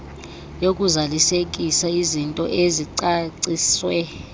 yokuzalisekisa izintoni ezicaciswe